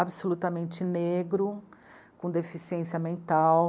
negro, com deficiência mental.